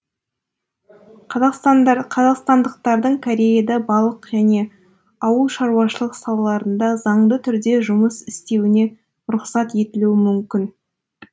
қазақстандықтардың кореяда балық және ауылшаруашылық салаларында заңды түрде жұмыс істеуіне рұқсат етілуі мүмкін